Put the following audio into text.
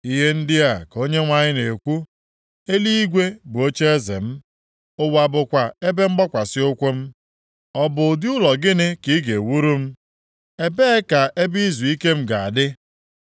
Ihe ndị a ka Onyenwe anyị na-ekwu, “Eluigwe bụ ocheeze m, ụwa bụkwa ebe mgbakwasị ụkwụ m. Ọ bụ ụdị ụlọ gịnị ka ị ga-ewuru m? Ebee ka ebe izuike m ga-adị?”